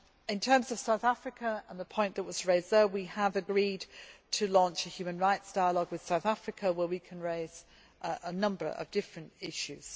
In terms of South Africa on the point that was raised, we have agreed to launch a human rights dialogue with South Africa where we can raise a number of different issues.